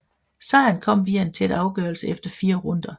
Sejren kom via en tæt afgørelse efter fire runder